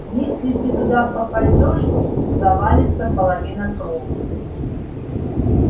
если ты туда попадёшь завалится половина кровли